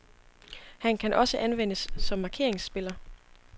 Han kan også anvendes som markeringsspiller.